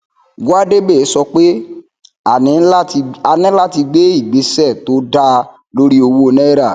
gwadebe sọ pé a ní láti gbe ìgbésẹ to dáa lórí owó nàírà